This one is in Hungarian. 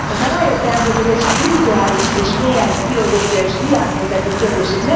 Aztán rájöttem, hogy egy spirituális és mélyen filozófiai és világnézeti kérdés.